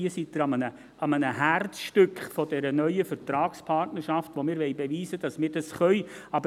Hier befinden Sie sich im Herzstück dieser neuen Vertragspartnerschaft, und wir wollen beweisen, dass wir das können.